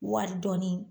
Wari dɔɔnin